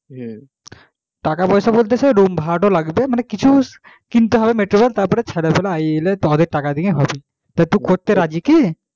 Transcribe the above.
টাকা পয়সা বলতে সে room ভাড়াতা লাগবে কিছু কিনতে হবে material ছাত্র এলে তাদের টাকা দিয়ে হবে তু করতে রাজি কি?